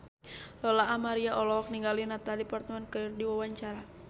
Lola Amaria olohok ningali Natalie Portman keur diwawancara